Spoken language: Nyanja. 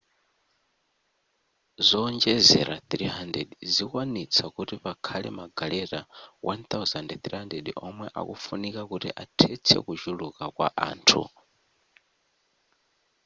zowonjezera 300 zikwanitsa kuti pakhale magaleta 1,300 omwe akufunika kuti athetse kuchuluka kwa anthu